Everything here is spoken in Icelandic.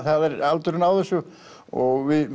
er aldurinn á þessu og við